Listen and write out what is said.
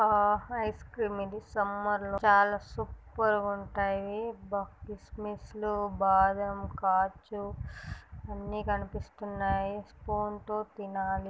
అ ice cream ఇది summer లో చాలా సూపర్ గా ఉంటాయి .అబ్బ కిస్ మిస్ లు బాదాం కాజు అన్ని కనిపిస్తున్నాయి తినాలి.